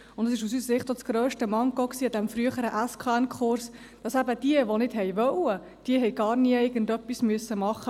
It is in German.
Aus unserer Sicht war es auch das grösste Manko dieses Sachkundenachweis(SKN)-Kurses, dass eben diejenigen, die nicht wollten, gar nie irgendetwas machen mussten.